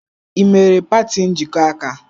Ị mere party njikọ aka?